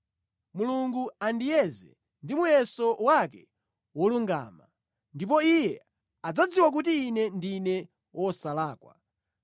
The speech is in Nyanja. Mulungu andiyeze ndi muyeso wake wolungama ndipo Iye adzadziwa kuti ine ndine wosalakwa,